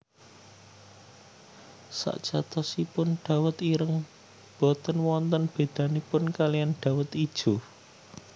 Sakjatosipun dawet ireng boten wonten bedanipun kalian dawet ijo